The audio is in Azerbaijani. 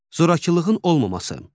Zorakılığın olmaması.